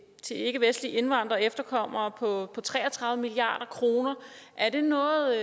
til ikkevestlige indvandrere og efterkommere på tre og tredive milliard kroner er det noget